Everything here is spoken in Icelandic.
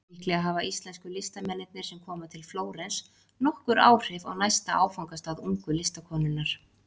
Líklega hafa íslensku listamennirnir sem koma til Flórens nokkur áhrif á næsta áfangastað ungu listakonunnar.